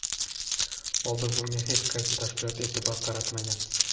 Oldin bunga hech qaysi tashkilot e’tibor qaratmagan.